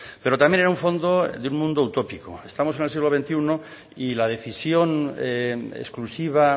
pero también en un fondo de un mundo utópico estamos en el siglo veintiuno y la decisión exclusiva